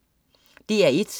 DR1: